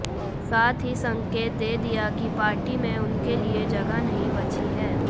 साथ ही संकेत दे दिया कि पार्टी में उनके लिए जगह नहीं बची है